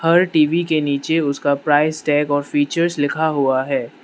हर TV के नीचे उसका प्राइस टैग और फीचर्स लिखा हुआ है।